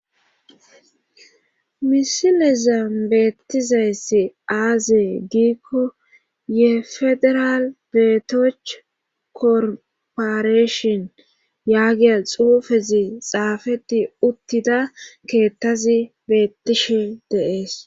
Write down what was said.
Misilezam beettizayssi aazee giikko ye federal beetoch korporeshon yaagiya xuufezi xaafeti uttida keettazi beettishe dees.